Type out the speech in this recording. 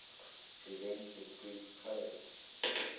prevent discrete code